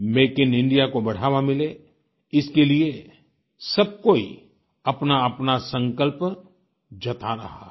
make in India को बढ़ावा मिले इसके लिए सब कोई अपनाअपना संकल्प जता रहा है